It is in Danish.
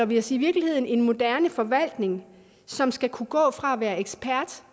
vi os i virkeligheden en moderne forvaltning som skal kunne gå fra at være ekspert